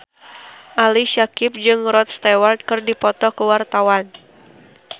Ali Syakieb jeung Rod Stewart keur dipoto ku wartawan